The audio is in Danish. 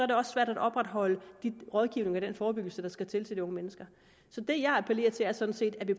det også svært at opretholde den rådgivning og den forebyggelse der skal til til de unge mennesker så det jeg appellerer til er sådan set at vi